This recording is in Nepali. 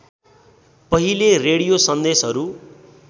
पहिले रेडियो सन्देशहरू